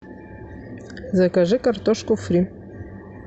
закажи картошку фри